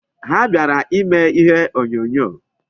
Ha bịara ime ihe onyonyo.